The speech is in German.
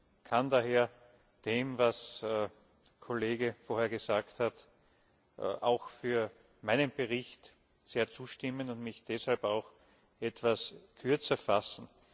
Ich kann daher dem, was der Kollege vorher gesagt hat, auch für meinen Bericht sehr zustimmen und mich deshalb auch etwas kürzer fassen.